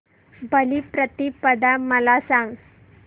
बलिप्रतिपदा मला सांग